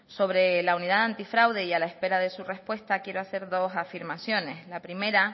sobre la unidad anti fraude y a la espera de su respuesta quiero hacer dos afirmaciones la primera